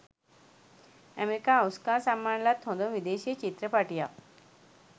America Oscar සම්මාන ලත් හොඳම විදේශීය චිත්‍රපටියක්